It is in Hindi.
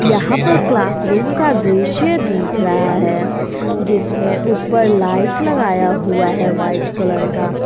यहां पर क्लासरूम का दृश्य दिख रहा है जिसमें ऊपर लाइट लगाया हुआ है वाइट कलर का।